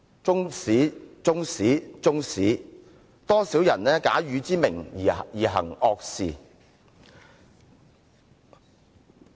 中史、中史、中史，多少人假汝之名而行惡事。